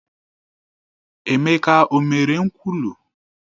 Emeka o mere nkwulu?